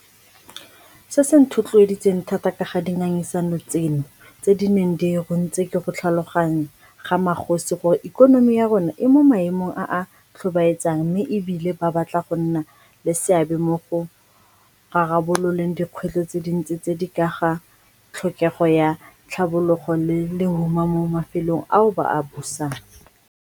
Se se nthotloeditseng thata ka ga dingangisano tseno tse di neng di runtse ke go tlhaloganya ga magosi gore ikonomi ya rona e mo maemong a a tlhobaetsang mme e bile ba batla go nna le seabe mo go rarabololeng dikgwetlho tse dintsi tse di ka ga tlhokego ya tlhabologo le lehuma mo mafelong ao ba a busang.